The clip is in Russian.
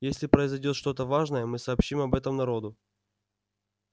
если произойдёт что-то важное мы сообщим об этом народу